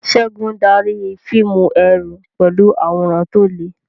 Segun darí fíìmù ẹ̀rù pẹ̀lú àwòrán tó le.